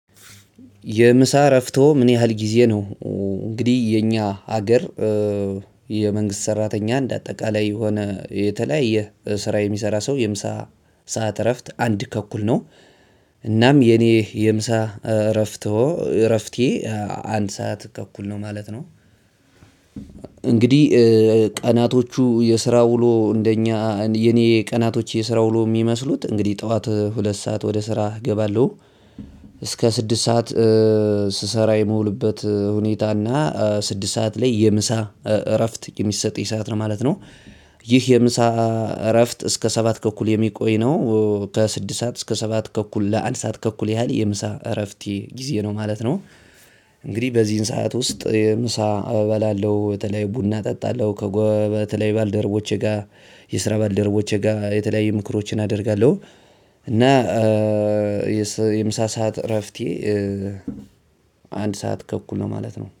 የምሳ እረፍቶ ምን ያህል ጊዜ ነው? እንግዲህ የኛ አገር የመንግስት ሰራተኛ እንደ አጠቃላይ የሆነ የተለያየ ስራ የሚሰራ ሰው የምሳ ሰዓት እረፍት አንድ ተኩል ነው። እናም የኔ የምሳ እረፍትዎ እረፍቴ አንድ ሰዓት ተኩል ነው ማለት ነው። እንግዲህ ቀናቶቹ የስራ ውሎ እንደኛ የኔ ቀናቶች የስራ ውሎ ሚመስሉት እንግዲህ ጠዋት ሁለት ሰዓት ወደ ስራ እገባለሁ። እስከ ስድስት ሰዓት ስሰራ የምውልበት ሁኔታ እና ስድስት ሰዓት ላይ የምሳ እረፍት የሚሰጠኝ ሰዓት ነው ማለት ነው። ይህ የምሳ እረፍት እስከ ሰባት ከኩል የሚቆይ ነው። ከስድስት ሰዓት እስከ ሰባት ከኩል ለአንድ ሰዓት ከኩል ያህል የምሳ እረፍቴ ጊዜ ነው ማለት ነው። እንግዲህ በዚህን ሰዓት ውስጥ ምሳ እበላለሁ በተለይ ቡና ጠጣለሁ ከጎበበት ላይ ባልደረቦቼ ጋር የስራ ባልደረቦቼጋ የተለያዩ ምክሮችን አደርጋለው። የምሳ ሰዓት እረፍቴ አንድ ሰዓት ከእኩል ነው ማለት ነው